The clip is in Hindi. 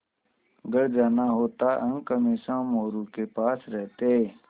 घर जाना होता अंक हमेशा मोरू के पास रहते